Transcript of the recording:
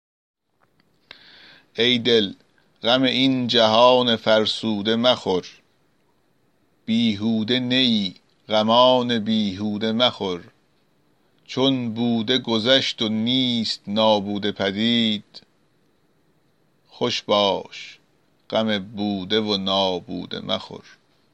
ای دل غم این جهان فرسوده مخور بیهوده نه ای غمان بیهوده مخور چون بوده گذشت و نیست نابوده پدید خوش باش غم بوده و نابوده مخور